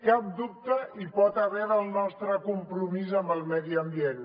cap dubte hi pot haver del nostre compromís amb el medi ambient